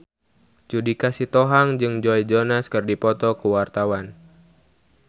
Judika Sitohang jeung Joe Jonas keur dipoto ku wartawan